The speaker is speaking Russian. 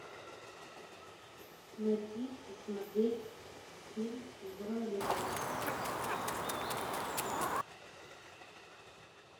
найти и смотреть фильм зона любэ